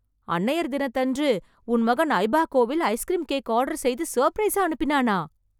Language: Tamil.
அன்னையர் தினத்தன்று, உன் மகன் ஐபாகோவில், ஐஸ்க்ரீம் கேக் ஆர்டர் செய்து சர்ப்ரைஸா அனுப்பினானா...